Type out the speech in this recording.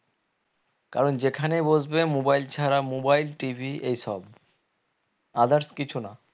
কারণ যেখানে বসবে mobile ছারা mobileT. V. এইসব others কিছু না